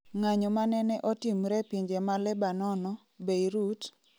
ng'anyo manene otimre pinje ma Lebanono, Beirut,